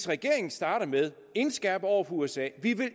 regeringen starter med at indskærpe over for usa at vi